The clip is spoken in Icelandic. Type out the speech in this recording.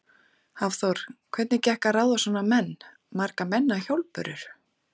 Hafþór: Hvernig gekk að ráða svona menn, marga menn á hjólbörur?